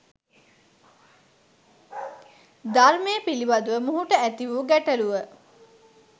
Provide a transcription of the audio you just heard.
ධර්මය පිළිබඳව මොහුට ඇති වූ ගැටළුව